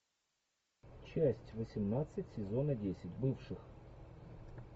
часть восемнадцать сезона десять бывших